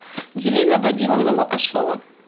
елена вадимовна макашова